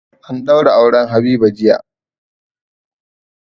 An daura auren Habiba jiya.